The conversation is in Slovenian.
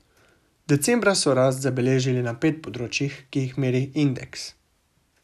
Decembra so rast zabeležili na pet področjih, ki jih meri indeks.